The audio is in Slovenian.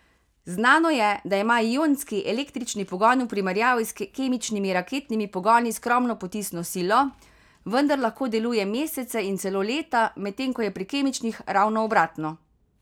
Znano je, da ima ionski električni pogon v primerjavi s kemičnimi raketnimi pogoni skromno potisno silo, vendar lahko deluje mesece in celo leta, medtem ko je pri kemičnih ravno obratno.